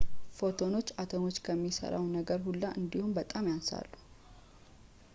ፎቶኖች አቶሞችን ከሚሠራው ነገር ሁላ እንዲያውም በጣም ያንሳሉ